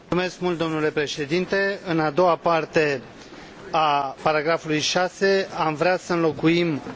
În a doua parte a paragrafului 6 am vrea să înlocuim only cu mainly.